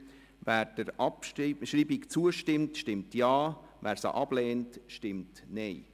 Wer der Abschreibung zustimmt, stimmt Ja, wer diese ablehnt, stimmt Nein.